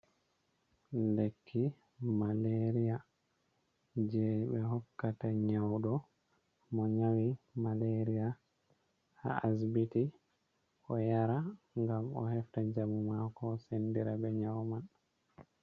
Lekki malaria je be hokkata nyaudo mo nyawi malaria ha asbiti. Oyara ngam o hefta njamu mako, sendira be nyau man.